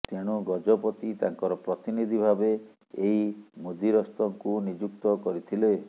ତେଣୁ ଗଜପତି ତାଙ୍କର ପ୍ରତିନିଧି ଭାବେ ଏହି ମୁଦିରସ୍ତଙ୍କୁ ନିଯୁକ୍ତ କରିଥିଲେ